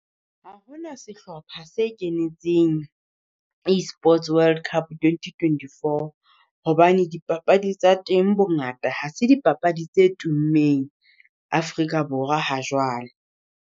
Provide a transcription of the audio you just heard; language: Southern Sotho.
Ha ho na sehlopha se kenetseng Esports World Cup twenty twenty-four. Hobane dipapadi tsa teng bongata ha se dipapadi tse tummeng Afrika Borwa hajwale.